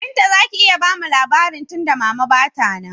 Binta zaki iya bamu labari tunda mama ba ta nan?